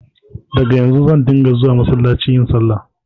Daga yanzu zan dinga zuwa massalaci yin sallah